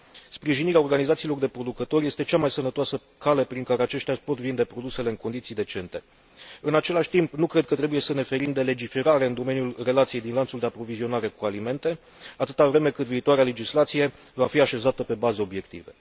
Sprijinirea organizațiilor de producători este cea mai sănătoasă cale prin care aceștia își pot vinde produsele în condiții decente. În același timp, nu cred că trebuie să ne ferim de legiferare în domeniul relației din lanțul de aprovizionare cu alimente, atâta vreme cât viitoarea legislație va fi așezată pe baze obiective.